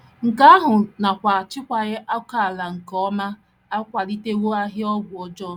Nke ahụ nakwa achịkwaghị ókèala nke ọma akwalitewo ahịa ọgwụ ọjọọ.